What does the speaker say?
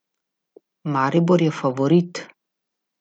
Maribor je favorit.